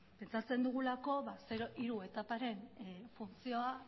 pentsatzen dugulako zero hiru etaparen funtzioa